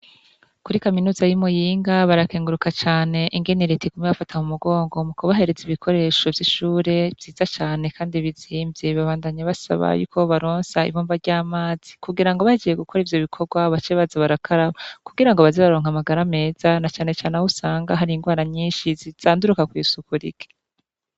Kuri kaminuza yimuyinga barakenguruka cane ingene reta uguma ibafata mumigongo ibahereza ibikoresho vyishure vyiza cane kandi bizimvye babandanya basaba ko bobaronsa ibomba ryamazi kugirango bahejeje gukora ibikorwa bace baza gukaraba kugirango bazoze bararonka amagara meza nace cane ahusanga arirwaranyinshi zanduruka kwisuku rike